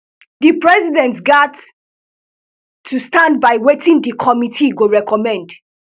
di president gat to stand by wetin dis committee go recommend